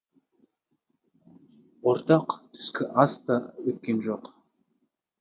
ортақ түскі ас та өткен жоқ